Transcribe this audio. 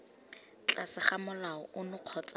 tlase ga molao ono kgotsa